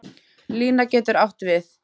Lína getur átt við